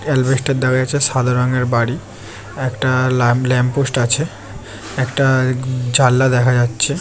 এসবেস্টার দেখা যাচ্ছে সাদা রঙের বাড়ি একটা লাল ল্যাম্পপোস্ট আছে একটা জানলা দেখা যাচ্ছে।